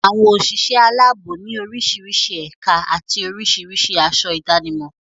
Àwọn òṣìṣẹ́ aláàbò ní orísirísi ẹ̀ka àti oríṣiríṣi aṣọ ìdánimọ̀.